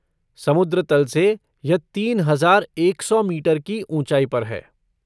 समुद्र तल से यह तीन हजार एक सौ मीटर की ऊँचाई पर है।